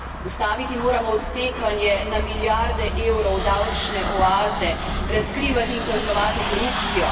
Ustaviti moramo odtekanje na milijarde evrov v davčne oaze, razkrivati in kaznovati korupcijo.